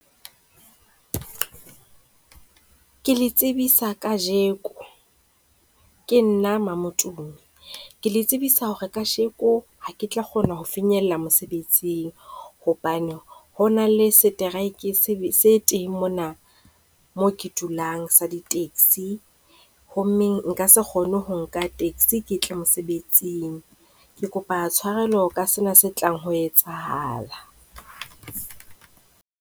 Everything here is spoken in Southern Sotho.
Ke le tsebisa kajeko, ke nna ke le tsebisa hore kajeko ha ke tla kgona ho finyella mosebetsing hobane ho na le strike se teng mona mo ke dulang sa di-taxi hommeng nka se kgone ho nka taxi ke tle mosebetsing. Ke kopa tshwarelo ka sena se tlang ho etsahala.